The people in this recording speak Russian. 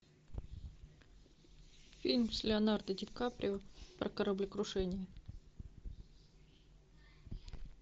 фильм с леонардо ди каприо про кораблекрушение